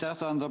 Aitäh!